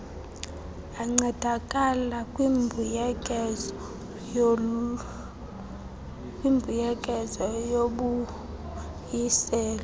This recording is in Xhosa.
ancedakala kwimbuyekezo yobuyiselo